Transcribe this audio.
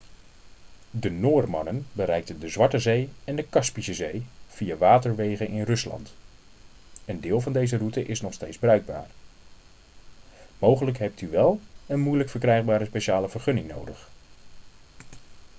de noormannen bereikten de zwarte zee en kaspische zee via waterwegen in rusland een deel van deze route is nog steeds bruikbaar mogelijk hebt u wel een moeilijk verkrijgbare speciale vergunning nodig